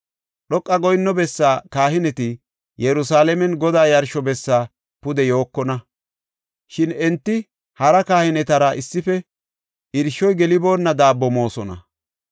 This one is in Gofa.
Dhoqa goyinno bessaa kahineti Yerusalaamen Godaa yarsho bessa pude yookona; shin enti hara kahinetara issife irshoy geliboonna daabbo moosona.